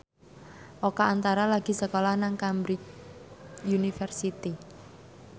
Oka Antara lagi sekolah nang Cambridge University